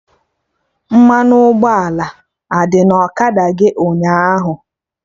Mmanụ ụgbọala adị na ọkada gị ụnyaahụ?.